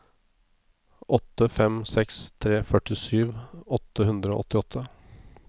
åtte fem seks tre førtisju åtte hundre og åttiåtte